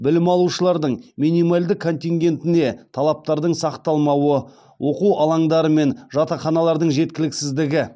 білім алушылардың минималды контингентіне талаптардың сақталмауы оқу алаңдары мен жатақханалардың жеткіліксіздігі